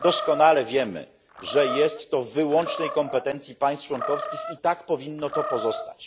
Doskonale wiemy, że należy to do wyłącznych kompetencji państw członkowskich, i tak powinno pozostać.